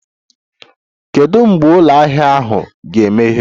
Kedu mgbe ụlọ ahịa ahụ ga-emeghe?